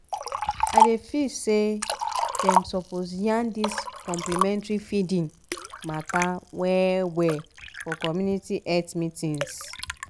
i dey feel say dem suppose yarn dis complementary feeding mata well-well for community health meetings